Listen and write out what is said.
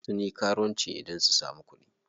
Sun yi karuwanci ne don su samu kuɗi.